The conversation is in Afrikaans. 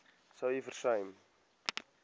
sou u versuim